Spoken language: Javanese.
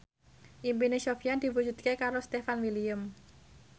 impine Sofyan diwujudke karo Stefan William